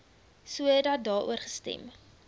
sodat daaroor gestem